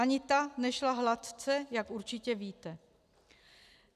Ani ta nešla hladce, jak určitě víte.